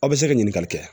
Aw bɛ se ka ɲininkali kɛ